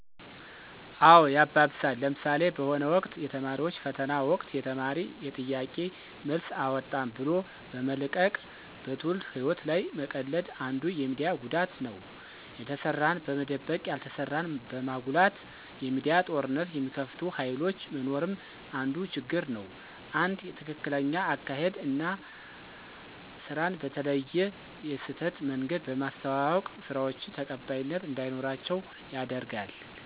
አዎ ያባብሳል። ለምሣሌ፦ በሆነ ወቅት የተማሪዎች ፈተና ወቅት የተማሪ የጥያቄ መልስ አወጣን ብሎ በመልቀቅ በትውልድ ህይዎት ላይ መቀለድ አንዱ የሚዲያ ጉዳት ነው። የተሠራን በመደበቅ ያልተሠራን በማጉላት የሚዲያ ጦርነት የሚከፍቱ ሀይሎች መኖርም አንዱ ችግር ነው። አንድ ትክክለኛ አካሔድ አና ስራን በተለየ የስህተት መንገድ በማስተዋወቅ ስራዎችን ተቀባይነት እንዳይኖራቸው ያደርጋል።